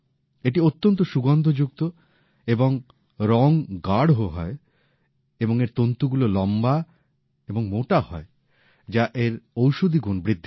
এটি অত্যন্ত সুগন্ধযুক্ত এর রং গাঢ় হয় এবং এর তন্তুগুলো লম্বা এবং মোটা হয় যা এর ঔষধিগুণ বৃদ্ধি করে